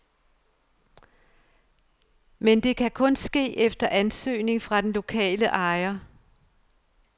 Man det kan kun ske efter ansøgning fra den lokale ejer.